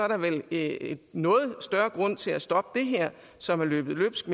der vel er noget større grund til at stoppe det her som er løbet løbsk